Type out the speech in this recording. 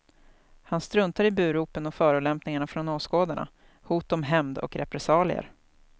Han struntar i buropen och förolämpningarna från åskådarna, hot om hämnd och repressalier.